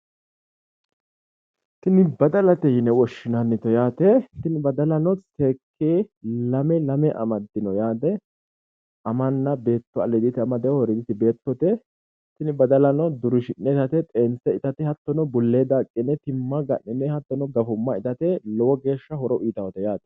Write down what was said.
Tinni baddalate yine woshinnannite yaate tinni baddalano seekite lame lame amadino yaate amanna beetto aliidita amadino woriiditi beettote tinni baddalano durinshi'ne, xeense itate hatono bulee daaqine tima ga'nine hatono gafumma itate lowogeesha horo uyitate yaate.